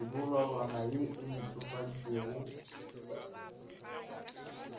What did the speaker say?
mebolelwana ye e ntšhofaditšwego go